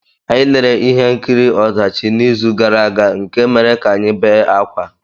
Anyị lere ihe nkiri ọdachi n’izu gara aga nke mere ka anyị bee ákwá.